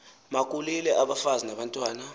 makulile abafazi nabantwana